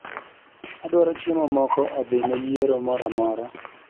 Adwaro chiemo moko odhine yiero moro amora